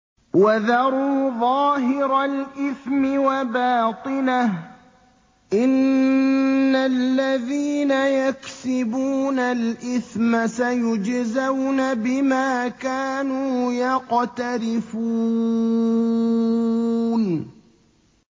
وَذَرُوا ظَاهِرَ الْإِثْمِ وَبَاطِنَهُ ۚ إِنَّ الَّذِينَ يَكْسِبُونَ الْإِثْمَ سَيُجْزَوْنَ بِمَا كَانُوا يَقْتَرِفُونَ